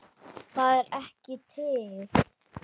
ÞAÐ ER EKKI TIL!!!